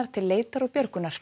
til leitar og björgunar